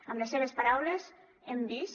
amb les seves paraules hem vist